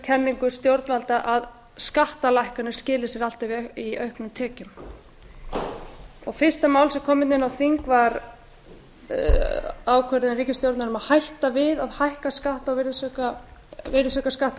kenningu stjórnvalda að skattalækkanir skili sér alltaf í auknum tekjum fyrsta mál sem kom hérna inn á þing var ákvörðun ríkisstjórnarinnar um að hætta við að hækka virðisaukaskatt á